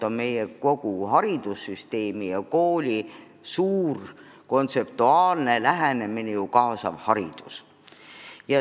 Kogu meie haridussüsteemi ja kooli aluskontseptsioon on kaasav haridus.